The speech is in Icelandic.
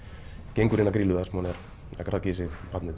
gengur inn á Grýlu þar sem hún er að graðga í sig barnið